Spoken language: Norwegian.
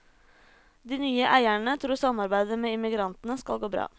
De nye eierne tror samarbeidet med immigrantene skal gå bra.